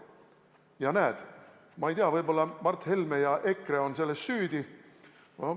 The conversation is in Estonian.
Ja näed, ma ei tea, võib-olla Mart Helme ja EKRE on selles süüdi.